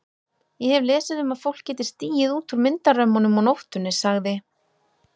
Ég hef lesið um að fólk geti stigið út úr myndarömmunum á nóttunni sagði